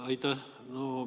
Aitäh!